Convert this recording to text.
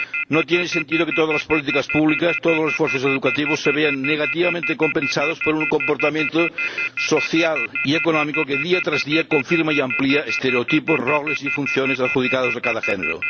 No tiene sentido que todas las políticas públicas, todos los esfuerzos educativos se vean negativamente compensados por un comportamiento social y económico que, día tras día, confirma y amplía estereotipos, roles y funciones adjudicados a cada género.